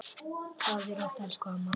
Sofðu rótt elsku amma.